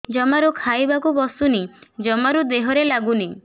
ଜମାରୁ ଖାଇବାକୁ ବସୁନି ଜମାରୁ ଦେହରେ ଲାଗୁନି